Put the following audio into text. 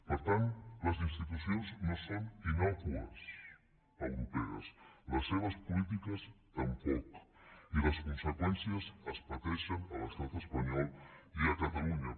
per tant les institucions no son innòcues europees les seves polítiques tampoc i les conseqüències es pateixen a l’estat espanyol i a catalunya